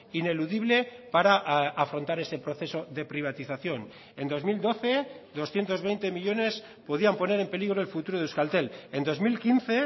ineludible para afrontar ese proceso de privatización en dos mil doce doscientos veinte millónes podían poner en peligro el futuro de euskaltel en dos mil quince